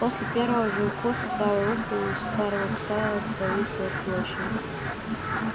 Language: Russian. после первого же укуса правое ухо у старого пса повисло клочьями